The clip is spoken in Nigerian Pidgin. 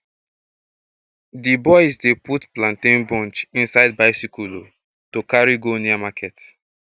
d boys dey put plantain bunch inside bicycle um to carry go near market